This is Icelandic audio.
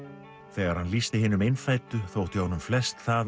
þegar hann lýsti hinum innfæddu þótti honum flest það